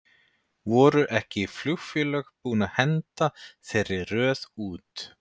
Voru ekki flugfélög búinn að henda þeirri röð út?